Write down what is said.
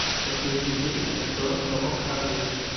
подключи фильм с актером томом харди